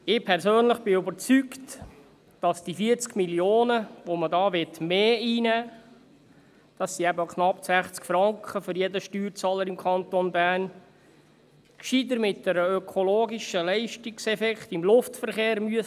Ich persönlich bin überzeugt, dass die 40 Mio. Franken, die man hier mehr einnehmen wird – das sind knapp 60 Franken für jeden Steuerzahler im Kanton Bern –, gescheiter über einen ökologischen Leistungseffekt im Luftverkehr abholt.